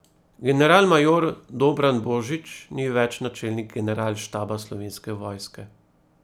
Generalmajor Dobran Božič ni več načelnik generalštaba Slovenske vojske.